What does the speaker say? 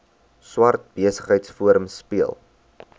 swart besigheidsforum speel